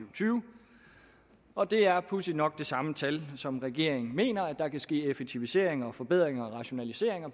og tyve og det er pudsigt nok det samme tal som regeringen mener der kan ske effektiviseringer og forbedringer og rationaliseringer